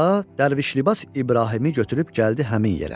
dərviş libas İbrahimi gətirib gəldi həmin yerə.